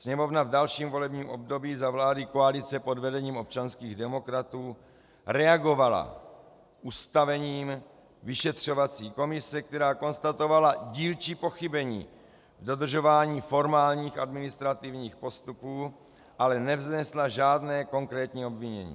Sněmovna v dalším volebním období, za vlády koalice po vedením občanských demokratů, reagovala ustavením vyšetřovací komise, která konstatovala dílčí pochybení v dodržování formálních administrativních postupů, ale nevznesla žádné konkrétní obvinění.